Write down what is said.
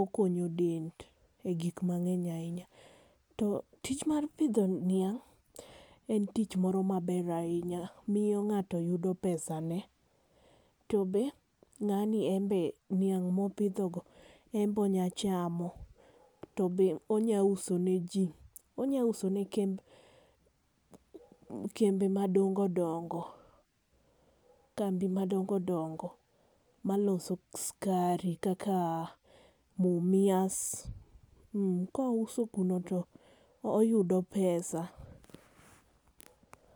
okonyo del egik mang'eny ahinya. To tich mar pidho niang' en tich moro maber ahinya miyo ng'ato yudo pesane. To be ng'ani en be niang' mopidhogo en be onyalo chamo to be onyalo uso neji onyalo uso ne kembe kambi madongo dongo, kambi madongo dongo maloso sukari kaka Mumias. Ka ouso kuno to oyudo pesa.